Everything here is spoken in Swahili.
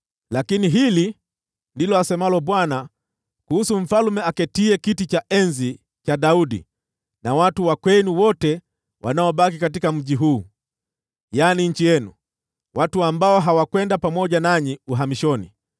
lakini hili ndilo asemalo Bwana kuhusu mfalme aketiaye kiti cha enzi cha Daudi, na watu wa kwenu wote wanaobaki katika mji huu, ndugu zenu ambao hawakwenda pamoja nanyi uhamishoni.